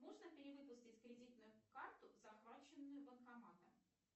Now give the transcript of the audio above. можно перевыпустить кредитную карту захваченную банкоматом